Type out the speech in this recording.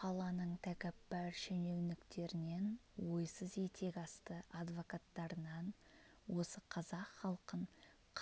қаланың тәкаппар шенеуніктерінен ойсыз етек асты адвокаттарынан осы қазақ халқын